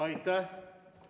Aitäh!